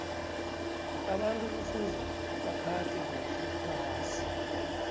abantu kufuza baphathe kuhle iphasi